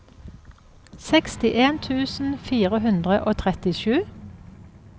sekstien tusen fire hundre og trettisju